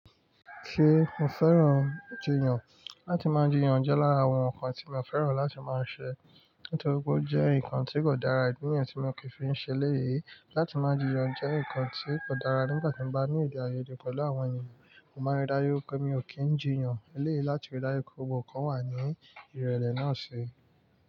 Ṣé mo fẹ́ràn jiyàn? Láti máa jiyàn jẹ́ lára àwọn nǹkan tí mo fẹ́ràn láti máa ṣe, nítorí ó jẹ́ nǹkan tí kò dára, ìdi niyen tí mo kì í fi ń ṣe lẹ́yìn. Láti máa jiyàn jẹ́ nǹkan tí kò dára nígbà tí mo bá ní ede aiyede pẹ̀lú àwọn ènìyàn. Mo máa ń rí dáju wipé mi ò kí ń jiyàn. Eleyi láti rí dáju wipé gbogbo nkan wà ní ìrẹ̀lẹ̀ náà ṣi.